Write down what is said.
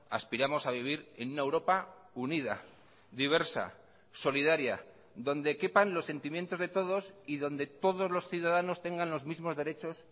aspiramos a vivir en una europa unida diversa solidaria donde quepan los sentimientos de todos y donde todos los ciudadanos tengan los mismos derechos